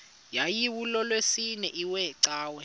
yayilolwesine iwe cawa